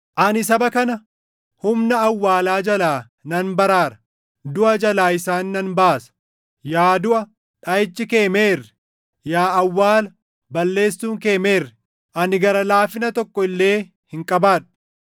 “Ani saba kana humna awwaalaa jalaa nan baraara; duʼa jalaa isaan nan baasa. Yaa duʼa, dhaʼichi kee meerre? Yaa awwaala, balleessuun kee meerre? “Ani gara laafina tokko illee hin qabaadhu;